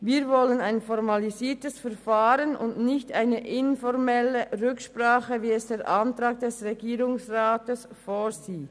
Wir wollen ein formalisiertes Verfahren und nicht eine informelle Rücksprache, wie es der Antrag des Regierungsrats vorsieht.